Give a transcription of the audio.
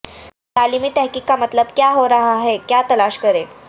تعلیمی تحقیق کا مطلب کیا ہو رہا ہے کیا تلاش کریں